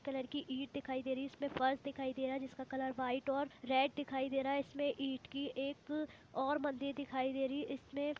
इसमें एक कलर की ईट दिखाई दे रही है इसमें फर्श दिखाई दे रहा है जिसका कलर वाईट और रेड दिखाई दे रहा है इसमें इट की एक और मंदिर दिखाई दे रही है। इसमें --